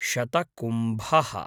शतकुम्भः